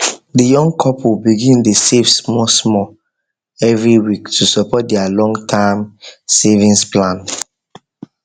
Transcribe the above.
the young couple begin dey save smallsmall every week to support their longterm savings plan